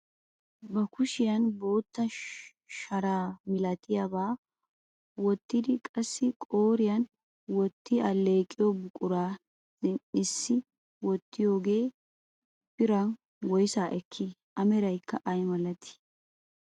Ba kushiyaan bootta sharaa milatiyaabaa wottidi qassi qooriyaan wotti alleeqiyoo buquraa zin"issi wottoogee biran woysaa ekkii? A meraykka ay milatii?